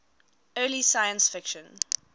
early science fiction